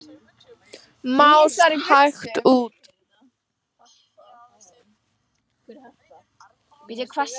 Mást hægt út.